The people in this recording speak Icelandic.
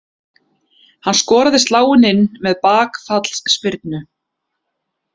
Hann skoraði sláin inn með bakfallsspyrnu.